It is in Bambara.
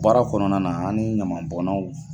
Baara kɔnɔna na an ni ɲaman bɔnnaw